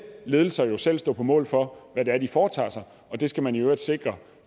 ledelser jo selv stå på mål for hvad det er de foretager sig og det skal man i øvrigt sikre